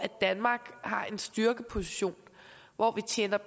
danmark har en styrkeposition hvor vi tjener